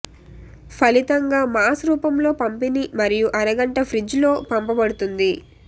ఫలితంగా మాస్ రూపంలో పంపిణీ మరియు అరగంట ఫ్రిజ్ లో పంపబడుతుంది